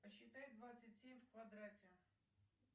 посчитай двадцать семь в квадрате